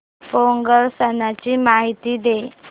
पोंगल सणाची माहिती दे